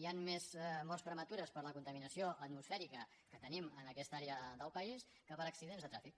hi han més morts prematures per la contaminació atmosfèrica que tenim en aquesta àrea del país que per accidents de trànsit